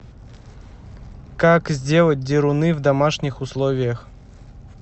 как сделать деруны в домашних условиях